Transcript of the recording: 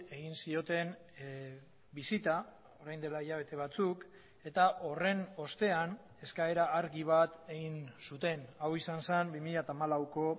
egin zioten bisita orain dela hilabete batzuk eta horren ostean eskaera argi bat egin zuten hau izan zen bi mila hamalauko